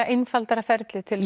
einfaldara ferli til